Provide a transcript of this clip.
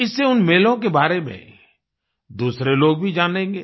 इससे उन मेलों के बारे में दूसरे लोग भी जानेंगे